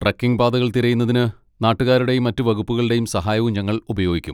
Trekking പാതകൾ തിരയുന്നതിന് നാട്ടുകാരുടെയും മറ്റ് വകുപ്പുകളുടെയും സഹായവും ഞങ്ങൾ ഉപയോഗിക്കും.